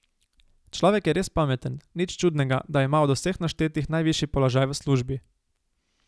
Človek je res pameten, nič čudnega, da ima od vseh naštetih najvišji položaj v službi.